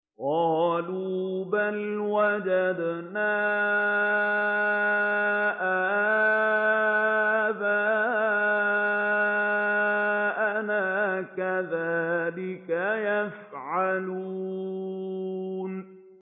قَالُوا بَلْ وَجَدْنَا آبَاءَنَا كَذَٰلِكَ يَفْعَلُونَ